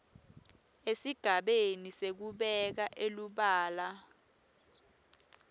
esigabeni sekubeka elubala